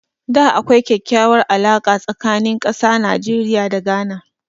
Da akwai kyakkyawar alaka tsakanin ƙasa Najeriya da Ghana